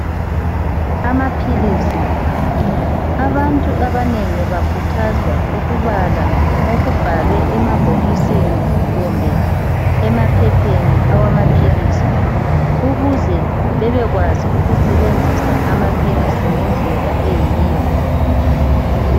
Amaphilisi, abantu abanengi bakhuthazwa ukubala okubhalwe emabhokisini kumbe emaphepheni awamaphilisi ukuze bebekwazi ukusebenzisa amaphilisi ngendlela eyiyo .